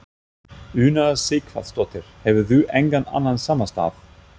Una Sighvatsdóttir: Hefurðu engan annan samastað?